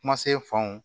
Kuma se fanw